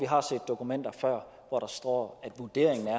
har set dokumenter hvor der står at vurderingen er